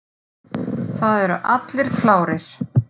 Það eru allir klárir.